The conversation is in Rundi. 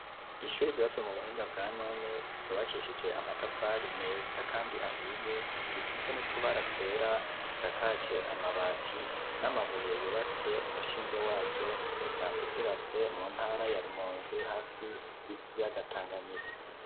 Ishure ryubatswe mu buhinga bwa none ryubakishije amatafari meza kandi ahiye risitse n'utubara twera itsakaje amabati n'amabuye yubatse umushinge waryo risanzwe ryubatse mu ntara ya rumonzi hafi y'ikiyaga tanganyika.